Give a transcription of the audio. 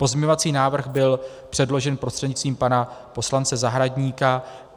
Pozměňovací návrh byl předložen prostřednictvím pana poslance Zahradníka.